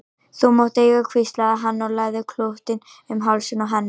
Þú mátt eiga hann hvíslaði hann og lagði klútinn um hálsinn á henni.